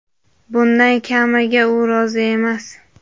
Bundan kamiga u rozi emas.